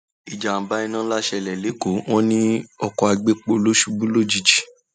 ìjàḿbà iná ńlá ṣẹlẹ lẹkọọ wọn ní oko àgbẹpọ ló ṣubú lójijì